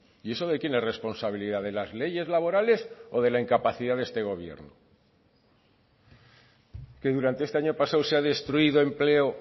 y eso de quién es responsabilidad de las leyes laborales o de la incapacidad de este gobierno que durante este año pasado se ha destruido empleo